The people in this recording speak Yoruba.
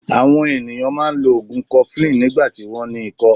Àwon ènìyàn máa n lo ògùn 'cofflin nígbàtí wón ní ikó